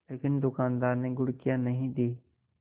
लेकिन दुकानदार ने घुड़कियाँ नहीं दीं